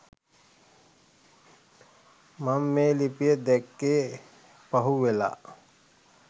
මං මේ ලිපිය දැක්කෙ පහු වෙලා.